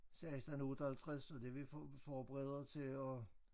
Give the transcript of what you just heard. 16 58 og det vi for forbereder til at